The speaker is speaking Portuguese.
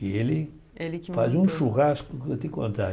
E ele Ele que Faz um churrasco que eu te contar.